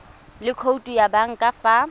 le khoutu ya banka fa